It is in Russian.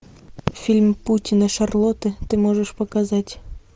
фильм паутина шарлотты ты можешь показать